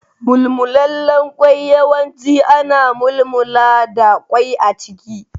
Mulmullalen kwai yawanci ana mulmulla da kwai a ciki.